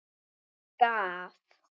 Hann gaf